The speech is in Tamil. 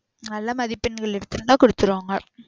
நல்லா மதிப்பெண்கள் எடுத்துருந்தா குடுத்துருவாங்க.